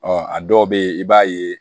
Ɔ a dɔw bɛ yen i b'a ye